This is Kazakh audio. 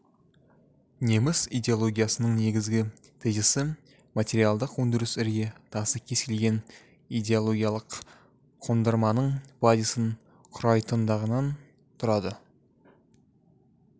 неміс идеологиясының негізгі тезисі материалдық өндіріс ірге тасы кез келген идеологиялық қондырманың базисін құрайтындығынан тұрады